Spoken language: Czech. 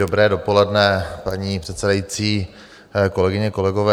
Dobré dopoledne, paní předsedající, kolegyně, kolegové.